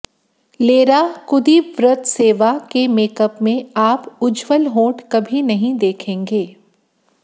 लेरा कुद्रीवत्सेवा के मेकअप में आप उज्ज्वल होंठ कभी नहीं देखेंगे